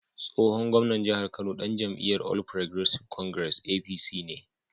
Tsohon gwamnan jihar Kano dan jam’iyyar All Progressives Congress (APC) ne.